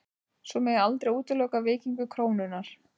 Svo megi aldrei útiloka veikingu krónunnar